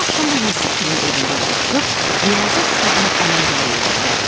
O axşam da Yusif gilinin evində yığışıb riyaziyyat kitabını ələk-vələk elədilər.